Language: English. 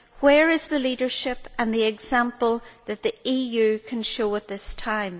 Where is the leadership and the example that the EU can show at this time?